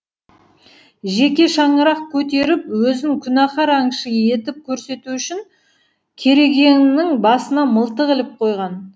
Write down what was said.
жеке шаңырақ көтеріп өзін күнәһар аңшы етіп көрсету үшін керегенің басына мылтық іліп қойған